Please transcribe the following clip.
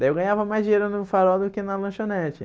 Daí eu ganhava mais dinheiro no farol do que na lanchonete.